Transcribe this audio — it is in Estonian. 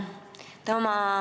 Hea ettekandja!